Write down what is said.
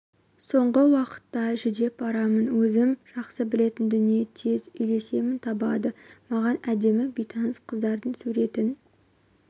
соңғы уақытта жүдеп барамын өзім жақсы білетін дүние тез үйлесімін табады маған әдемі бейтаныс қыздардың суретін